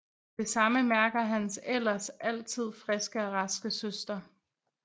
Det samme mærker hans ellers altid friske og raske søster